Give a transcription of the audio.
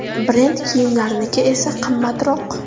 Brend kiyimlarniki esa qimmatroq.